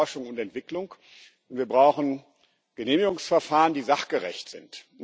Wir brauchen Forschung und Entwicklung, wir brauchen Genehmigungsverfahren, die sachgerecht sind.